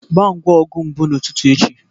Gbaa ngwa ọgụ mbụ n'ụtụtụ echi